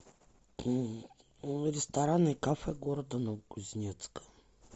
рестораны и кафе города новокузнецк